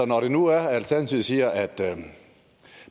når det nu er at alternativet siger at